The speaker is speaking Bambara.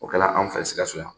O kɛla anw fɛ Sikaso yan